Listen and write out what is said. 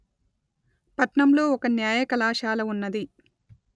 పట్నం లో ఒక న్యాయ కళాశాల ఉన్నది